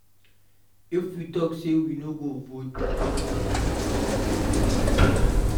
If we talk say we no go vote, e fit be our own way of protest